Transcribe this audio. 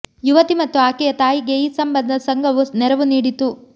ಯುವತಿ ಮತ್ತು ಆಕೆಯ ತಾಯಿಗೆ ಈ ಸಂಬಂಧ ಸಂಘವು ನೆರವು ನೀಡಿತು